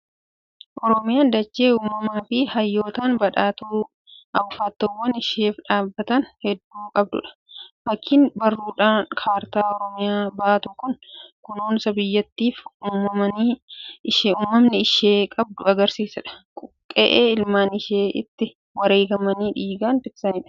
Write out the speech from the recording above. Oromiyaan dachee uumamaa fi hayyootaan badhaatuu, abukaattoowwan isheef dhaabbatan hedduu qabdudha. Fakkiin barruudhaan kaartaa Oromiyaa baatu kun kunuunsa biyyattiif uummanni ishee qabu kan agarsiisudha. Qe'ee ilmaan ishee itti wareegamanii dhiigaan tiksanidha.